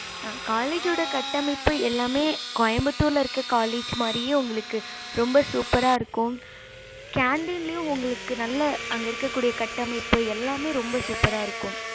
ஆஹ் college யோட கட்டமைப்பு எல்லாமே கோயம்பத்துர்ல இருக்க college மாறியே உங்களுக்கு ரொம்ப சூப்பரா இருக்கும் canteen உங்களுக்கு உள்ள அங்க இருக்க கூடிய கட்டமைப்பு எல்லாமே ரொம்ப சூப்பரா இருக்கும்